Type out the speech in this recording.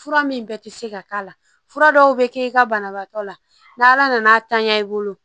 Fura min bɛ ti se ka k'a la fura dɔw bɛ kɛ i ka banabaatɔ la n'ala nan'a tanya i bolo